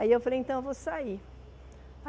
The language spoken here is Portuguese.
Aí eu falei, então eu vou sair.